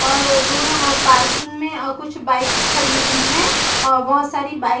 और अ दोनों अ पार्किंग में अ कुछ बाइक्स खड़ी हुईं हैं और बहुत सारी बाइक --